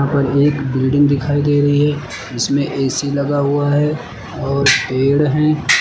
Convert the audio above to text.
ऊपर ये एक बिल्डिंग दिखाई दे रही है जिसमें ए_सी लगा हुआ है और पेड़ है।